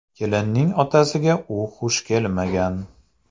Kelinning otasiga u xush kelmagan.